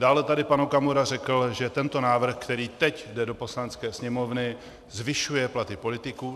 Dále tady pan Okamura řekl, že tento návrh, který teď jde do Poslanecké sněmovny, zvyšuje platy politiků.